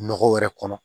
Nɔgɔ wɛrɛ kɔnɔ